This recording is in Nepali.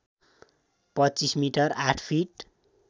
२५ मि ८ फिट